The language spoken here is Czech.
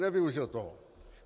Nevyužil toho.